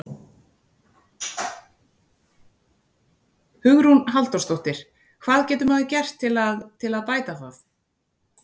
Hugrún Halldórsdóttir: Hvað getur maður gert til að, til að bæta það?